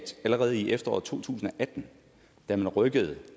allerede i efteråret to tusind og atten da man rykkede